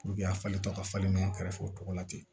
a falentɔ ka falen mɛ kɛrɛfɛ o tɔgɔ la ten